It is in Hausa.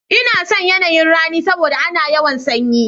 N'na son yanayin ra'ni saboda ana yawan tsanyi.